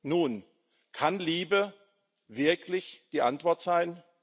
Nun, kann Liebe wirklich die Antwort sein?